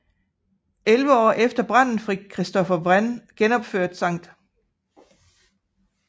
Elleve år efter branden fik Christopher Wren genopført St